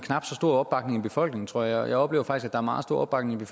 knap så stor opbakning i befolkningen tror jeg og jeg oplever faktisk er meget stor opbakning